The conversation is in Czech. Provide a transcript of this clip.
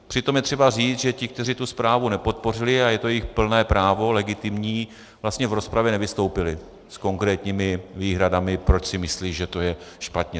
Přitom je třeba říci, že ti, kteří tu zprávu nepodpořili, a je to jejich plné právo, legitimní, vlastně v rozpravě nevystoupili s konkrétními výhradami, proč si myslí, že to je špatně.